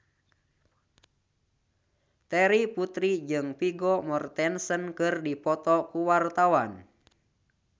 Terry Putri jeung Vigo Mortensen keur dipoto ku wartawan